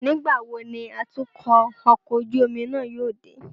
Nigbawo ni atukọ ọkọ ojú omi náà yóò de?